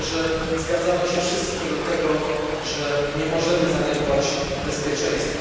Myślę, że zgadzamy się wszyscy co do tego, że nie możemy zaniedbać bezpieczeństwa.